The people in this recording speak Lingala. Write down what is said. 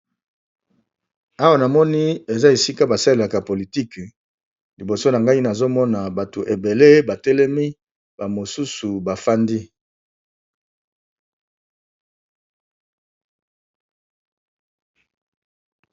Awa na moni eza esika basalelaka politique. Liboso na ngai nazomona bato ebele batelemi bamosusu bafandi.